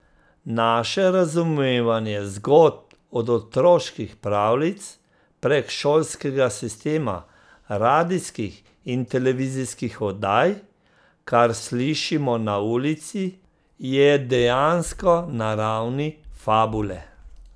Naše razumevanje zgodb od otroških pravljic, prek šolskega sistema, radijskih in televizijskih oddaj, kar slišimo na ulici, je dejansko na ravni fabule.